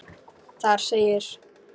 Þar segir: